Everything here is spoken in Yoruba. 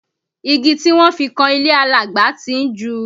Igi tí wọ́n fi kan ilé Alagba tí ń ju